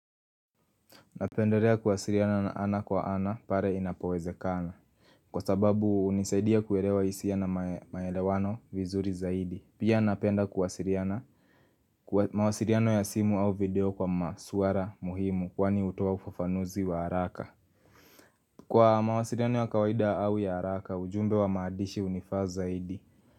Napenderea kuwasiriana na ana kwa ana pare inapoweze kana Kwa sababu unisaidia kuerewa isia na maelewano vizuri zaidi Pia napenda kuwasiriana Kwa mawasiriano ya simu au video kwa masuara muhimu kwani hutoa ufafanuzi wa haraka Kwa mawasiriano ya kawaida au ya haraka ujumbe wa maadishi unifaa zaidi.